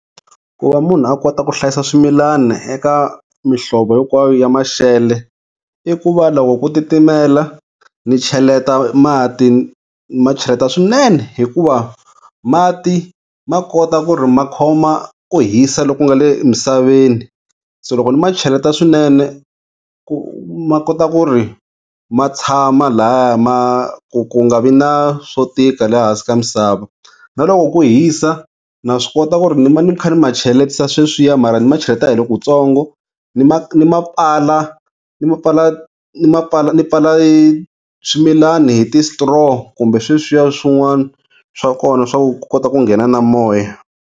Ku va munhu a kota ku hlayisa swimilani eka mihlovo hinkwayo ya maxelo i ku va loko ku titimela ni cheleta mati ni ma cheleta swinene. Hikuva mati ma kota ku ri ma khoma ku hisa loku nga le misaveni, se loko ni ma cheleta swinene, ku ma kota ku ri ma tshama lahaya ma ku ku nga vi na swo tika le hansi ka misava. Na loko ku hisa na swi kota ku ri ni va ni kha ni ma cheletisa sweswiya mara ni ma cheleta hi lokutsongo ni ma ma ni pfala hi swimilani hi ti straw kumbe sweswiya swin'wana swa kona swa ku kota ku nghena na moya.